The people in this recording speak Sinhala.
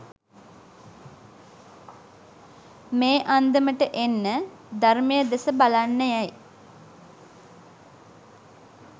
මේ අන්දමට එන්න ධර්මය දෙස බලන්න යැයි